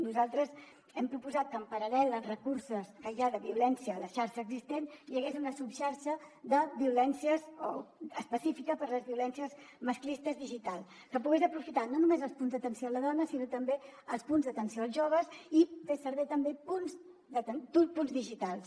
nosaltres hem proposat que en paral·lel als recursos que hi ha de violència a la xarxa existent hi hagués una subxarxa de violències o específica per a les violències masclistes digitals que pogués aprofitar no només els punts d’atenció a la dona sinó també els punts d’atenció als joves i fer servir també punts digitals